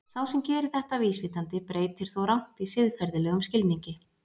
Sá sem gerir þetta vísvitandi breytir þó rangt í siðferðilegum skilningi.